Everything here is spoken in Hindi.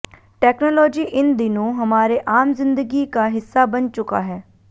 टेक्नोलॉजी इन दिनों हमारे आम जिंदगी का हिस्सा बन चुका है